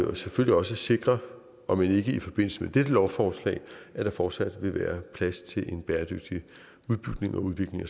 og selvfølgelig også sikre om end ikke i forbindelse med dette lovforslag at der fortsat vil være plads til en bæredygtig udbygning udbygning